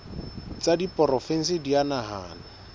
tsa diporofensi di a nahanwa